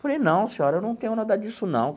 Falei, não senhora, eu não tenho nada disso não.